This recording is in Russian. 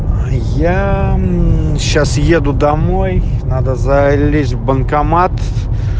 я сейчас еду домой надо залезть в банкомат